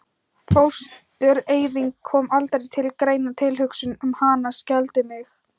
Fóstureyðing kom aldrei til greina, tilhugsun um hana skelfdi mig.